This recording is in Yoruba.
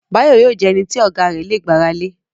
Báyọ̀ yóò jẹ ẹnití Ọ̀gá rẹ̀ lè gbàra lé